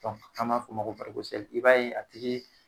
an ma fɔ o ma ko i b'a ye a tigi.